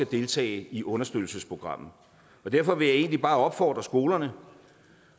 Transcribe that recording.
deltage i understøttelsesprogrammet derfor vil jeg egentlig bare opfordre skolerne